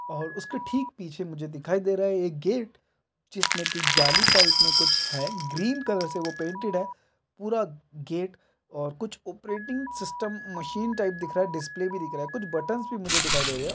और उसके ठीक पीछे मुझे दिखाई दे रहा है मुझे एक गेट जिसमे की जाली टाइप मे कुछ हैग्रीन कलर से वो पैनटेड है पूरा गेट और कुछ ऑपरेटिंग सिस्टम मशीन टाइप दिख रहा है डिस्प्ले टाइप दिख रहा है कुछ बटन्स भी मुझे दिखाई दे रहे है।